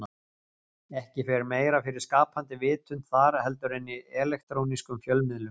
Ekki fer meira fyrir skapandi vitund þar heldur en í elektrónískum fjölmiðlum.